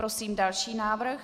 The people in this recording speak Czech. Prosím další návrh.